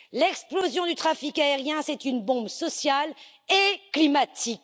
L'explosion du trafic aérien est une bombe sociale et climatique.